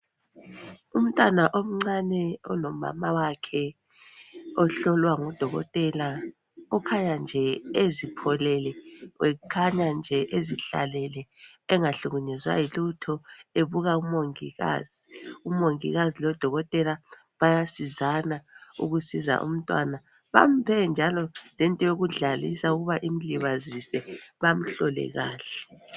Umntwana omncane olomama wakhe ohlolwa ngudokotela okhanya nje ezipholele ekhanya nje ezihlalele engahlukunyezwa yilutho ebuka umongikazi. Umongikazi lodokotela bayasizana ukusiza umntwana bamuphe njalo lento yokudlalisa ukuba imlibazise bamhlole kahle.